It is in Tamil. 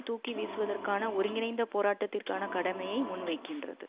தூக்கி வீசுவதற்கான ஒருங்கிணைந்த போராட்டத்திற்கான கடமையை முன்வைக்கின்றது